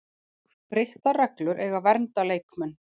Breyttar reglur eiga að vernda leikmenn